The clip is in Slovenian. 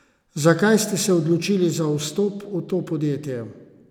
Zakaj ste se odločili za vstop v to podjetje?